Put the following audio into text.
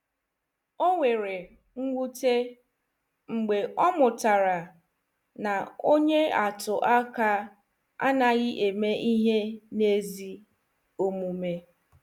O nwere mwute mgbe ọ mụtara na onye atụ aka anaghị eme ihe n'ezi omume.